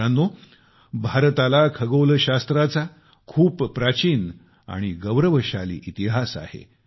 मित्रांनो भारताला खगोलशास्त्राचा खूप प्राचीन आणि गौरवशाली इतिहास आहे